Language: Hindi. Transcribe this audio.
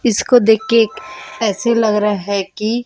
इसको देख के ऐसे लग रहा है की--